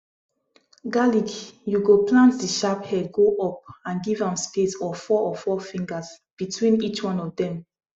garlic you go plant the sharp head go up and give am space of four of four fingers between each one of dem